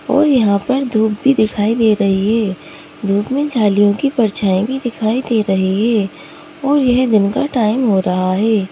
और यहाँ पर धूप भी दिखाई दे रही है धूप में झालियों की परछाएं भी दिखाई दे रही है और यह दिन का टाइम हो रहा है।